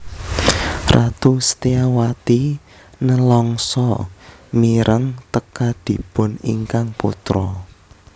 Ratu Setyawati nelangsa mireng tekadipun ingkang putra